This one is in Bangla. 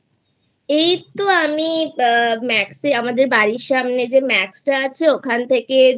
এই তো আমি Max আমাদের বাড়ির সামনে যেMaxটা আছে ওখান থেকে